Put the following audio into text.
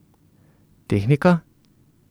Tehnika?